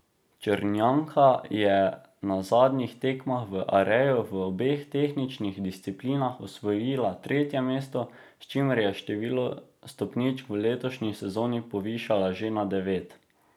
Črnjanka je na zadnjih tekmah v Areju v obeh tehničnih disciplinah osvojila tretje mesto, s čimer je število stopničk v letošnji sezoni povišala že na devet.